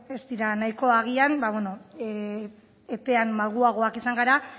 ez dira nahikoa agian epean malguagoak izan gara